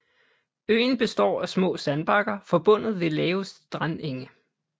Øen består af små sandbakker forbundet ved lave strandenge